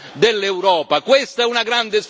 Mi direte ma Pittella sta sognando.